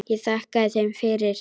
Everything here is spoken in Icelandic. Ég þakkaði þeim fyrir.